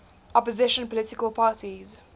opposition political parties